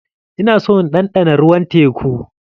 Ina so in ɗanɗana ruwan teku.